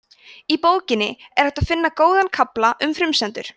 í bókinni er hægt að finna góðan kafla um frumsendur